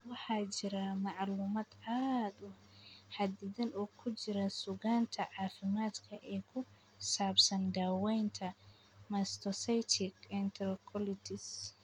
Waxaa jira macluumaad aad u xaddidan oo ku jira suugaanta caafimaadka ee ku saabsan daaweynta mastocytic enterocolitis.